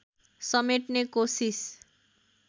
समेट्ने कोसिस